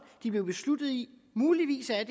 de blev besluttet i muligvis er